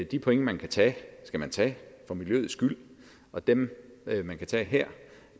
de points man kan tage skal man tage for miljøets skyld og dem man kan tage her